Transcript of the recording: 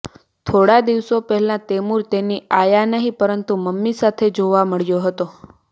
થોડા દિવસો પહેલાં તૈમુરે તેની આયા નહીં પરંતુ મમ્મી સાથે જોવા મળ્યો હતો